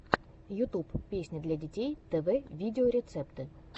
ютюб песни для детей тв видеорецепт